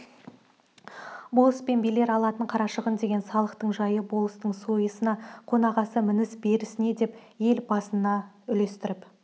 болыс пен билер алатын қарашығын деген салықтың жайы болыстың сойысына қонағасы мініс-берісіне деп ел басына үлестіріп